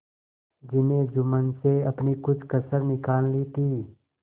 जिन्हें जुम्मन से अपनी कुछ कसर निकालनी थी